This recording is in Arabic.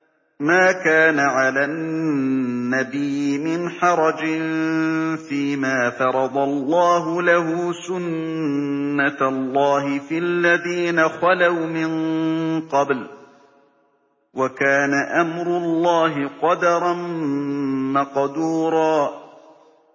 مَّا كَانَ عَلَى النَّبِيِّ مِنْ حَرَجٍ فِيمَا فَرَضَ اللَّهُ لَهُ ۖ سُنَّةَ اللَّهِ فِي الَّذِينَ خَلَوْا مِن قَبْلُ ۚ وَكَانَ أَمْرُ اللَّهِ قَدَرًا مَّقْدُورًا